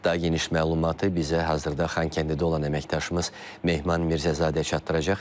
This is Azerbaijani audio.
Daha geniş məlumatı bizə hazırda Xankəndidə olan əməkdaşımız Mehman Mirzəzadə çatdıracaq.